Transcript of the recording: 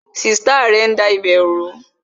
Sista rẹ ń da ibè ru